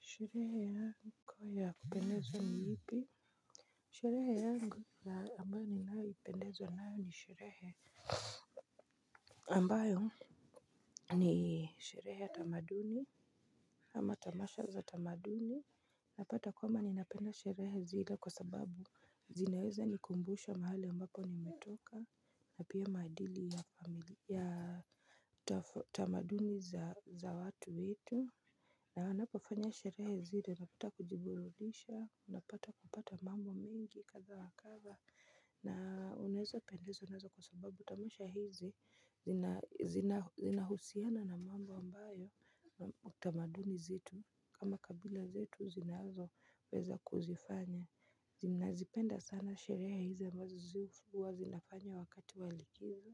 Sherehe yangu ya kupendezo ni ipi? Sherehe yangu ambayo ni nayoipendezwa nayo ni sherehe ambayo ni sherehe ya tamaduni. Ama tamasha za tamaduni napata kwamba ninapenda sherehe zile kwa sababu zinaweza nikumbusha mahali ambapo nimetoka. Napia maadili ya tamaduni za watu wetu. Na wanapofanya sherehe zile napata kujiburudisha, napata kupata mambo mengi kadha wakadha na unaweza pendezwa nazo kwa sababu tamasha hizi zina zina zina husiana na mambo ambayo utamaduni zetu kama kabila zetu zinazo weza kuzifanya. Zina zipenda sana sherehe hizi ambazo zihuwa zinafanya wakati walikizo.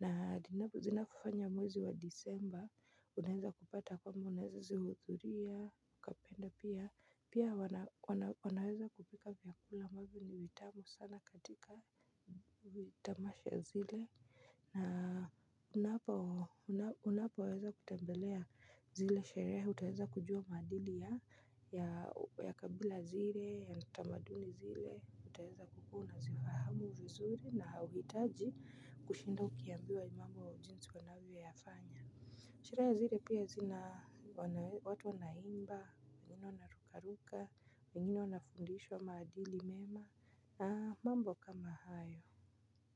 Na zina fanywa mwezi wa disemba, unaweza kupata kwamba unaweza zihudhuria, kapenda pia, pia wanaweza kupika vyakula ambavyo ni vitamu sana katika vitamasha zile. Na unapo unapo weza kutembelea zile sherehe, utaweza kujua maadili ya kabila zile, ya tamaduni zile, utaweza kukuwa una zifahamu vizuri na hauitaji kushinda ukiambiwa mambo jinsi wanavyo yafanya. Sherehe zile pia zina watu wanaimba, wangine wanarukaruka, wangine wanafundishwa maadili mema na mambo kama hayo.